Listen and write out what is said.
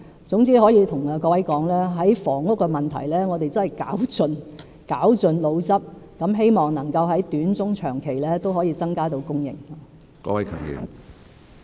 總之，我可以告訴各位，在房屋的問題上，我們真的是絞盡腦汁，希望能夠在短、中、長期均可以增加供應。